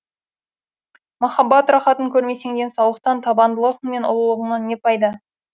махаббат рахатын көрмесең денсаулықтан табандылығың мен ұлылығыңнан не пайда